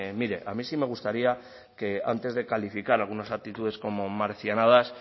mire a mí sí me gustaría que antes de calificar algunos actitudes como marcianadas